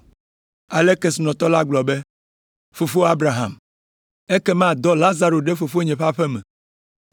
“Ale kesinɔtɔ la gblɔ be, ‘Fofo Abraham, ekema dɔ Lazaro ɖe fofonye ƒe aƒe me,